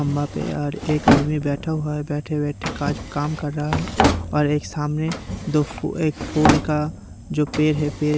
खंभा पे और एक आदमी बैठा हुआ है बैठे बैठे काज काम कर रहा है और एक सामने दो फू एक फूल का जो पेर है पेर --